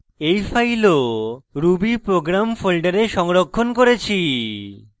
এই file rubyprogram folder সংরক্ষণ করেছি